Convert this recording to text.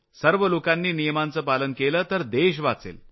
सर्व लोकांनी नियमांचं पालन केलं तर देश वाचेल